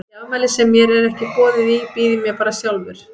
Í afmæli sem mér er ekki boðið í býð ég mér bara sjálfur.